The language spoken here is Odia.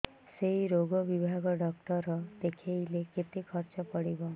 ସେଇ ରୋଗ ବିଭାଗ ଡ଼ାକ୍ତର ଦେଖେଇଲେ କେତେ ଖର୍ଚ୍ଚ ପଡିବ